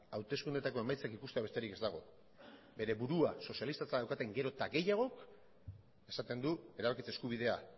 hauteskundeetako emaitzak ikustea besterik ez dago bere burua sozialistatzat daukaten gero eta gehiago esaten du erabakitze eskubidea